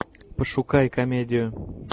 пошукай комедию